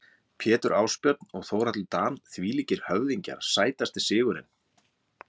Pétur Ásbjörn og Þórhallur Dan þvílíkir höfðingjar Sætasti sigurinn?